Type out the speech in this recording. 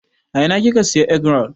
A ina kika Siya egg-roll?